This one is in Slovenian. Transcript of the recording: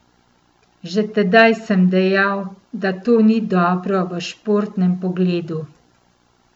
Že tedaj sem dejal, da to ni dobro v športnem pogledu.